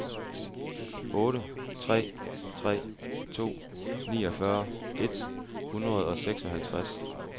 otte tre tre to niogfyrre et hundrede og seksoghalvtreds